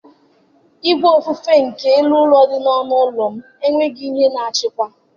Ìgwè ofufe nke elu ụlọ dị n'ọnụ ụlọ m enweghị ihe na-achịkwa.